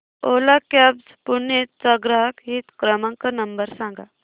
ओला cabs Pune चा ग्राहक हित क्रमांक नंबर सांगा